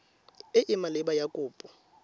e e maleba ya kopo